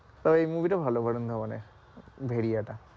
তাও এই movie টা ভালো বরুন ধাবান এর ভেরিয়া টা,